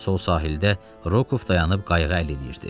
Sol sahildə Rokov dayanıb qayığa əl eləyirdi.